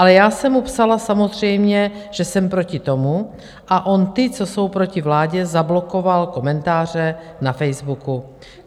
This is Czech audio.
Ale já jsem mu psala samozřejmě, že jsem proti tomu, a on ty, co jsou proti vládě, zablokoval komentáře na Facebooku.